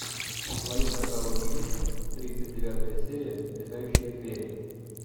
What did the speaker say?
в твоем каталоге есть тридцать девятая серия летающие звери